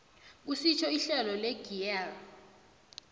kusitjho ihlelo legear